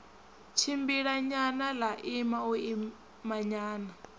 tshimbilanyana ḽa ima u imanyana